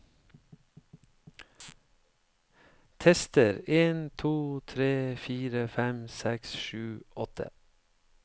Tester en to tre fire fem seks sju åtte